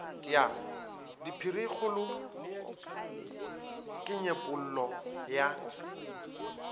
ya diphirikgolo ke nyepollo ya